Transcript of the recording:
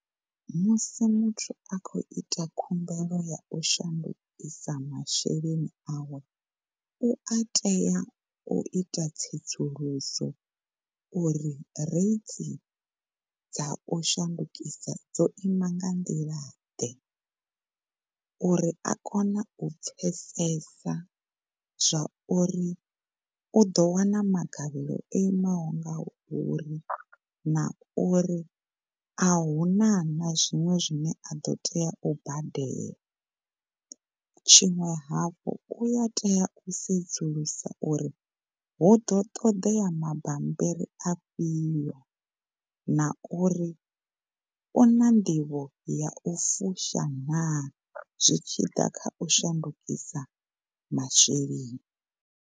Musi muthu a khou ita khumbelo ya shandukisa masheleni awe u a tea u ita tsedzuluso uri rate dza u shandukisa dzo ima nga nḓila ḓe uri a kone u pfesesa zwauri u ḓo wana magavhelo o imaho ngauri na uri ahuna na zwiṅwe zwine ado tea u badela tshiṅwe hafhu uya tea u sedzulusa uri huḓo toḓea ma bambiri a fhio na uri u na nḓivho ya fusha naa zwi tshi ḓa kha u shandukisa masheleni.